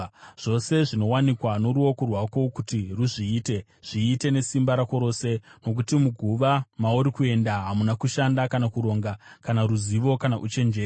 Zvose zvinowanikwa noruoko rwako kuti ruzviite, zviite nesimba rako rose, nokuti muguva, mauri kuenda, hamuna kushanda kana kuronga, kana ruzivo kana uchenjeri.